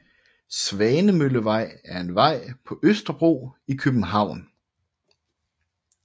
Svanemøllevej er en vej på Østerbro i København